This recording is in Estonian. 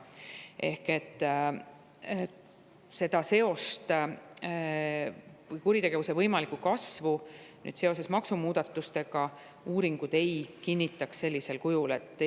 Ehk seda seost, kuritegevuse võimaliku kasvu seost maksumuudatustega, uuringud sellisel kujul ei kinnita.